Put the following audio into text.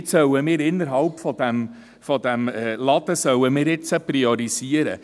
Innerhalb dieses Ladens sollen wir nun priorisieren!